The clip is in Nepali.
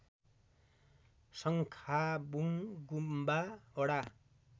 शङ्खाबुङ गुम्बा वडा